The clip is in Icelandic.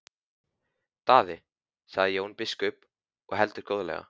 Daði, sagði Jón biskup og heldur góðlega.